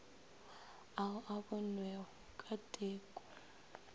ao a bonwego ka teko